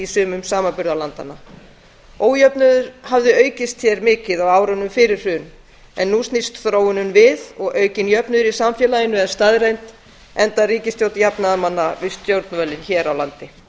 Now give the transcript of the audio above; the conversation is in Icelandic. sumum samanburðarlandanna ójöfnuður hafði aukist hér mikið á árunum fyrir hrun en nú snýst þróunin við og aukinn jöfnuður í samfélaginu er staðreynd enda ríkisstjórn jafnaðarmanna við stjórnvölinn hér á landi